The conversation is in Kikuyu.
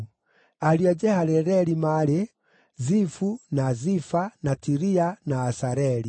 Ariũ a Jehaleleli maarĩ: Zifu, na Zifa, na Tiria, na Asareli.